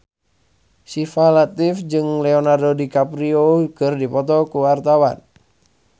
Syifa Latief jeung Leonardo DiCaprio keur dipoto ku wartawan